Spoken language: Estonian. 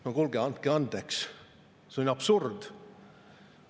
" No kuulge, andke andeks, see on ju absurd.